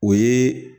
O ye